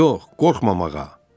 Yox, qorxmamağa.